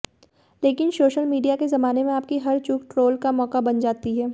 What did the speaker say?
लेकिन social media के जमाने में आपकी हर चूक ट्रोल का मौका बन जाती है